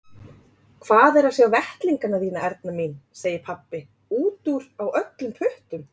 Hvað er að sjá vettlingana þína Erna mín, segir pabbi, út úr á öllum puttum.